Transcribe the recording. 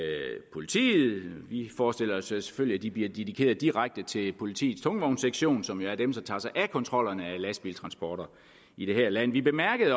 politiet vi forestiller os selvfølgelig at de bliver dedikeret direkte til politiets tungvognssektion som jo er dem der tager sig af kontrollerne af lastbiltransporter i det her land vi bemærkede i